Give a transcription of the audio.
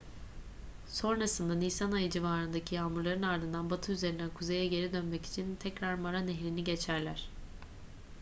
sonrasında nisan ayı civarındaki yağmurların ardından batı üzerinden kuzeye geri dönmek için tekrar mara nehrini geçerler